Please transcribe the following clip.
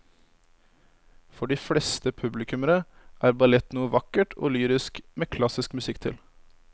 For de fleste publikummere er ballett noe vakkert og lyrisk med klassisk musikk til.